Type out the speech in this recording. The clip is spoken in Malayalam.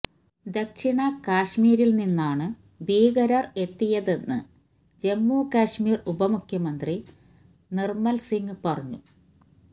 ദക്ഷിണ കാശ്മീരില് നിന്നാണ് ഭീകരര് എത്തിയതെന്ന് ജമ്മു കാശ്മീര് ഉപമുഖ്യമന്ത്രി നിര്മല് സിങ് പറഞ്ഞു